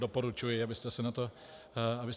Doporučuji, abyste se na to podívali.